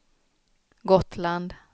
Gotland